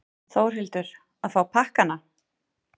Þórhildur: Að fá pakkana?